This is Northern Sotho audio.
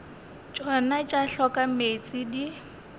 tšona tša hloka meetse di